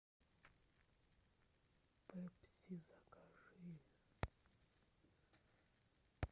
пепси закажи